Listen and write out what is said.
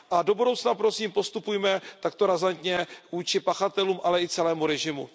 A do budoucna prosím postupujme takto razantně vůči pachatelům, ale i celému režimu.